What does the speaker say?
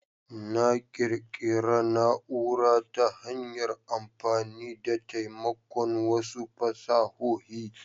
Na ƙirƙira na'ura ta hanyar amfani da taimakon wasu fasahohi.